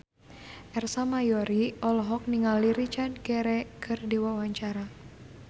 Ersa Mayori olohok ningali Richard Gere keur diwawancara